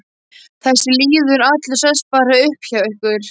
Þessi lýður allur sest bara upp hjá ykkur.